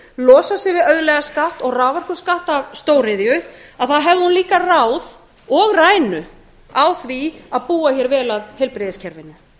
losa sig við auðlegðarskatt og raforkuskatt af stóriðju hefði hún líka ráð og rænu á því að búa hér vel að heilbrigðiskerfinu